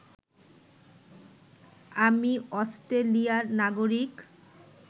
আমি অষ্ট্রেলিয়ার নাগরিক